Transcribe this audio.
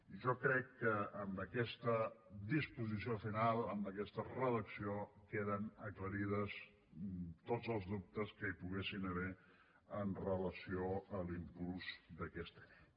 i jo crec que amb aquesta disposició final amb aquesta redacció queden aclarits tots els dubtes que hi poguessin haver amb relació a l’impuls d’aquesta llei